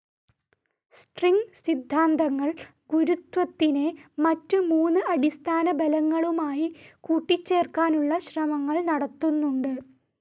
String സിദ്ധാന്തങ്ങൾ ഗുരുത്വത്തിനെ മറ്റ് മൂന്ന് അടിസ്ഥാന ബലങ്ങളുമായി കൂട്ടിച്ചേർക്കാനുള്ള ശ്രമങ്ങൾ നടത്തുന്നുണ്ട്.